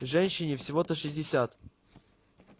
женщине всего-то шестьдесят